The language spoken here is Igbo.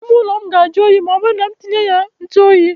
Ime ụlọ m ga ajụ oyi ma ọ bụrụ ma m tinye ya ntụ oyi.